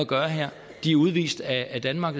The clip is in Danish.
gøre her de er udvist af danmark